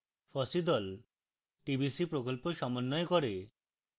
fossee the tbc প্রকল্প সমন্বয় করে